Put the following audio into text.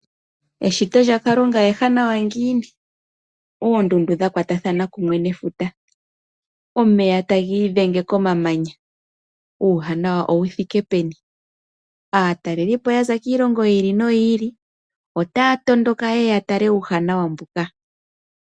Eshito lyaKalunga ewanawa ngini? Oondundu dhakwatathana kumwe nefuta, omeya tagi idhenge komamanya uuwanawa owu thike peni? Aatalelipo yaza kiilongo yiili noyi ili otaa tondoka yeye yatale uuwanawa mbuka.